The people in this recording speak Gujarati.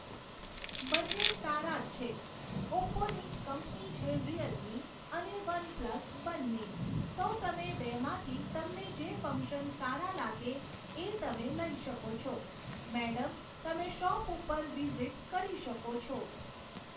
બંને સારા જ છે. ઓપ્પોની જ કંપની છે રિયલમી અને વનપ્લસ બંને. તો તમે બેમાંથી તમને જે ફંક્શન સારા લાગે એ તમે લઈ શકો છો. મૅડમ તમે શૉપ ઉપર વિઝિટ કરી શકો છો